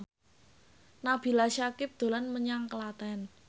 Nabila Syakieb dolan menyang Klaten